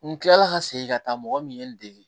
N kilala ka segin ka taa mɔgɔ min ye n dege